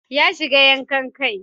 Ya shiga yankan kai.